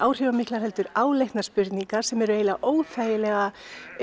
eru áleitnar spurningar sem eru eiginlega óþægilega